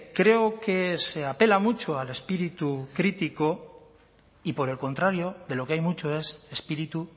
creo que se apela mucho al espíritu crítico y por el contrario de lo que hay mucho es espíritu